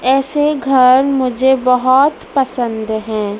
ऐसे घर मुझे बहोत पसंद हैं।